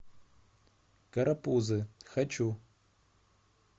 карапузы хочу